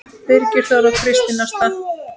Birgir Þór og Kristín Ásta.